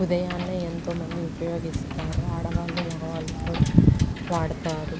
ఉదయాన్నే ఎంతోమంది ఉపాయిగిస్తారు. ఆడవాళ్ళు మగవాళ్ళు కూడా వాడతారు.